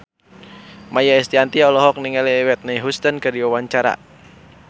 Maia Estianty olohok ningali Whitney Houston keur diwawancara